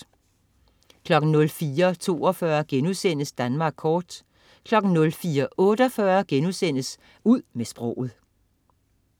04.42 Danmark kort* 04.48 Ud med sproget*